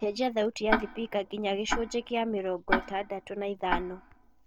cenjĩa thaũtĩ ya thibika nginya gĩcunji gĩa mĩrongoĩtandatũ na ithano